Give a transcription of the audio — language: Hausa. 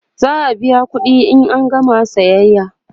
za'a biya ƙuɗi in an gama sayayya